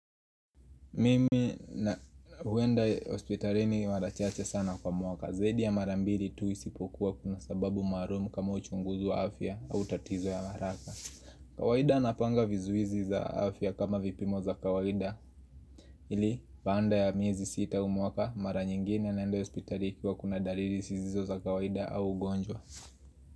Mimi na huenda hospitalini mara chache sana kwa mwaka. Zaudi ya mara mbiri tu isipokuwa kuna sababu maarmu kama uchunguzi wa afya au tatizo ya haraka. Kawaida napanga vizuizi za afya kama vipimo za kawaida. Ili baanda ya miezi sita huu mwaka mara nyingine naenda hospitali ikiwa kuna daliri sizizo za kawaida au ugonjwa.